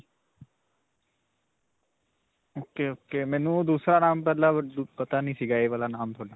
ok. ok. ਮੇਨੂੰ ਦੂਸਰਾ ਨਾਮ ਮਤਲਬ ਪਤਾ ਨਹੀਂ ਸਿਗਾ. ਇਹ ਵਾਲਾ ਨਾਮ ਤੁਹਾਡਾ.